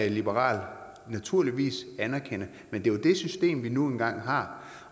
liberal naturligvis anerkende men det er jo det system vi nu engang har